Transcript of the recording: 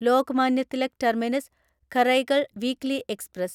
Lokmanya Tilak terminus Karaikal weekly express